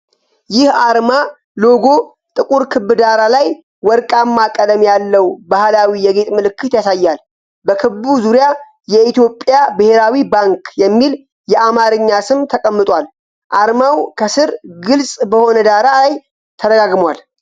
ይህ አርማ (ሎጎ) ጥቁር ክብ ዳራ ላይ ወርቃማ ቀለም ያለው ባህላዊ የጌጥ ምልክት ያሳያል። በክቡ ዙሪያ «የኢትዮጵያ ብሔራዊ ባንክ» የሚል የአማርኛ ስም ተቀምጧል፤ አርማውም ከስር ግልጽ በሆነ ዳራ ላይ ተደጋግሟል።